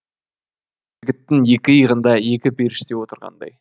жігіттің екі иығында екі періште отырғандай